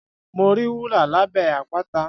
Mo rí wúrà lábẹ́ àpáta